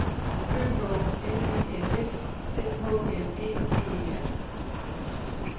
Ø H L E N S C H L Æ G E R